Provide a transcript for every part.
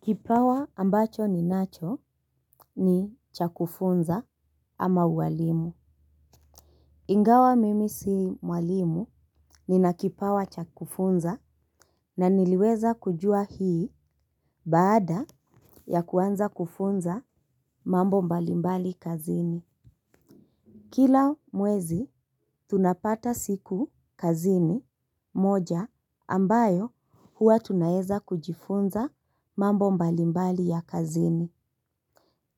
Kipawa ambacho ninacho ni cha kufunza ama uwalimu. Ingawa mimi si mwalimu nina kipawa cha kufunza na niliweza kujua hii baada ya kuanza kufunza mambo mbalimbali kazini. Kila mwezi tunapata siku kazini moja ambayo huwa tunaeza kujifunza mambo mbalimbali ya kazini.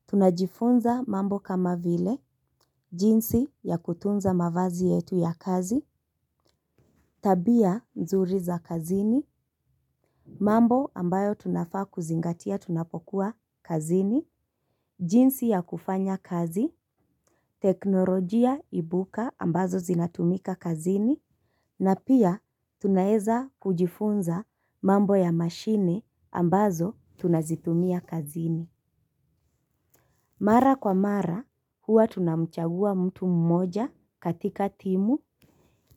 Tunajifunza mambo kama vile jinsi ya kutunza mavazi yetu ya kazi, tabia nzuri za kazini, mambo ambayo tunafaa kuzingatia tunapokuwa kazini, jinsi ya kufanya kazi, teknolojia ibuka ambazo zinatumika kazini, na pia tunaeza kujifunza mambo ya mashini ambazo tunazitumia kazini. Mara kwa mara, huwa tunamchagua mtu mmoja katika timu,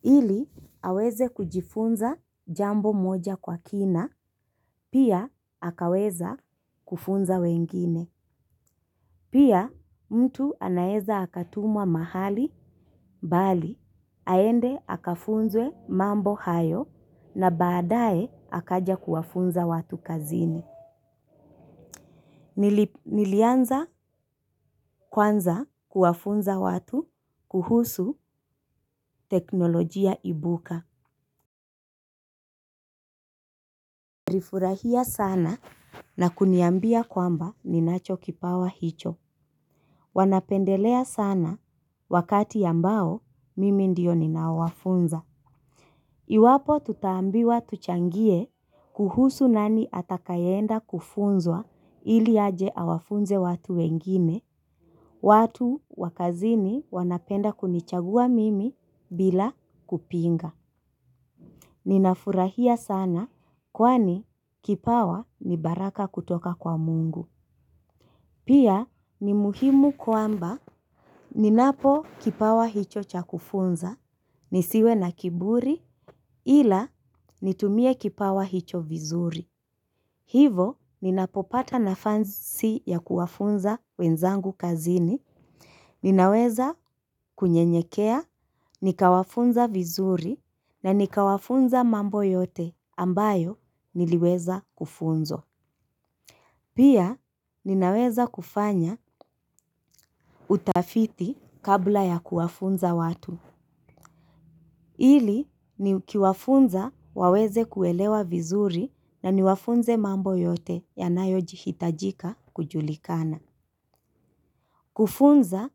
ili aweze kujifunza jambo mmoja kwa kina, pia akaweza kufunza wengine. Pia, mtu anaeza akatumwa mahali, mbali, aende akafunze mambo hayo, na badaye akaja kuwafunza watu kazini. Nilianza kwanza kuwafunza watu kuhusu teknolojia ibuka walifurahia sana na kuniambia kwamba ninacho kipawa hicho wanapendelea sana wakati ambao mimi ndio ninawafunza. Iwapo tutaambiwa tuchangie kuhusu nani atakayeenda kufunzwa ili aje awafunze watu wengine. Watu wa kazini wanapenda kunichagua mimi bila kupinga. Ninafurahia sana kwani kipawa ni baraka kutoka kwa mungu. Pia ni muhimu kwamba ninapo kipawa hicho cha kufunza, nisiwe na kiburi ila nitumie kipawa hicho vizuri. Hivo, ninapopata nafasi ya kuwafunza wenzangu kazini, ninaweza kunyenyekea, nikawafunza vizuri, na nikawafunza mambo yote ambayo niliweza kufunzwa. Pia, ninaweza kufanya utafiti kabla ya kuwafunza watu, ili nikiwafunza waweze kuelewa vizuri na niwafunze mambo yote yanayoji hitajika kujulikana. Kufunza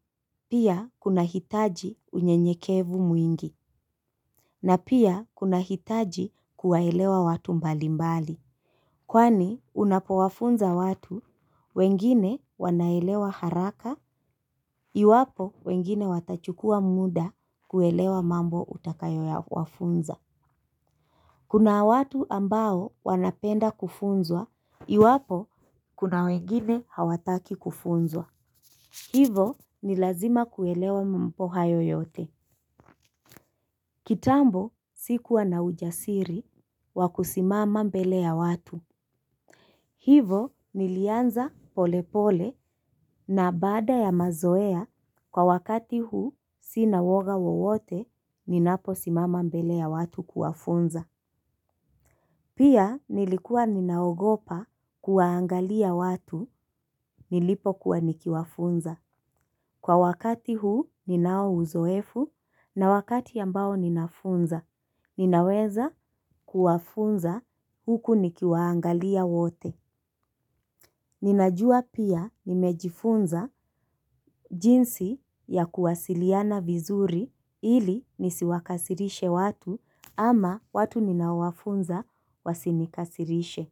pia kuna hitaji unyenyekevu mwingi na pia kuna hitaji kuwaelewa watu mbalimbali. Kwani unapowafunza watu wengine wanaelewa haraka iwapo wengine watachukua muda kuelewa mambo utakayo wafunza kuna watu ambao wanapenda kufunzwa iwapo kuna wengine hawataki kufunzwa kwani unapowafunza watu wengine wanaelewa haraka iwapo wengine watachukua muda kuelewa mambo utakayo wafunza kitambo sikuwa na ujasiri wa kusimama mbele ya watu. Hivo nilianza polepole na baada ya mazoea kwa wakati huu sina uoga wowote ninapo simama mbele ya watu kuwafunza. Pia nilikuwa ninaogopa kuwaangalia watu nilipo kuwa nikiwafunza. Kwa wakati huu ninao uzoefu na wakati ambao ninafunza, ninaweza kuwafunza huku nikiwaangalia wote. Ninajua pia nimejifunza jinsi ya kuwasiliana vizuri ili nisiwakasirishe watu ama watu ninao wafunza wasinikasirishe.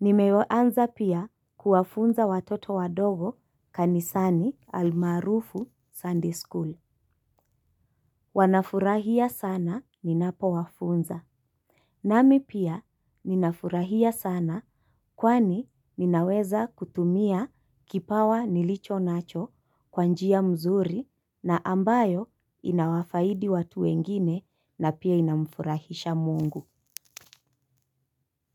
Nimeanza pia kuwafunza watoto wadogo kanisani almarufu Sunday School. Wanafurahia sana ninapo wafunza. Nami pia ninafurahia sana kwani ninaweza kutumia kipawa nilicho nacho kwa njia mzuri na ambayo inawafaidi watu wengine na pia inamfurahisha mungu.